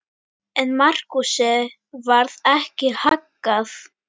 En Markúsi varð ekki haggað.